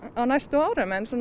á næstu árum en